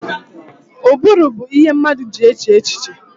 Ụbụrụ bụ ihe mmadụ ji eche echiche